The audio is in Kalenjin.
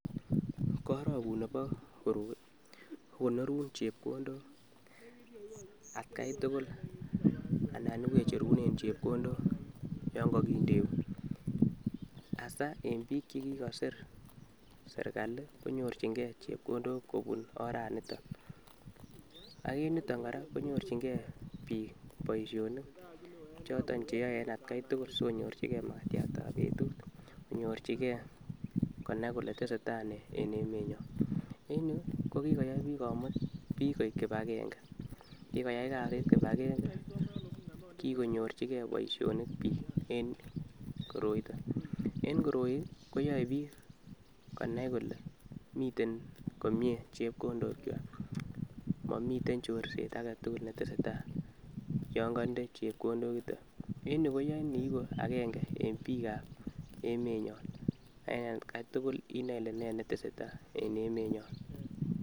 Korokut nebo koroi kokonorun chekondok atgai tukul anan iwecherunrn chepkondok yon kokindeu asai en bik chekikosir serikali konyorchin gee chepkondok kobun oranniton ak en yuton koraa konyorchin gee bik boishonik choton cheyoe en atgai tukul sikonyorchigee makatyat ab betut, konyorchigee konai kole tesetai nee en emenyon. En yuu kokikoyai komut bik koik kipagenge kiyoyai kasit kipagenge kokonyorchige boishonik bik en koroiton, en koroi koyoe bik konai kole miten komie chekondok kwak momiten chorset aketukul netesetai yon konde chepkondok yuton .En yuu koyoi iiku agenge en bik ab emenyon en agetukul inoe ile nee netesetai en emenyon.